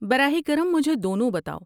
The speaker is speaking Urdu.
براہ کرم مجھے دونوں بتاؤ۔